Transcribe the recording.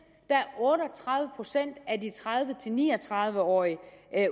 der er otte og tredive procent af de tredive til ni og tredive årige